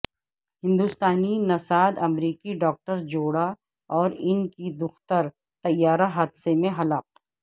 ہندوستانی نژاد امریکی ڈاکٹر جوڑا اور ان کی دختر طیارہ حادثہ میں ہلاک